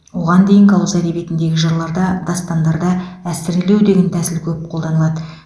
оған дейінгі ауыз әдебиетіндегі жырларда дастандарда әсірелеу деген тәсіл көп қолданылады